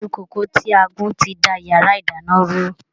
Iṣu kókò tí a gún ti da yàrá ìdáná rú.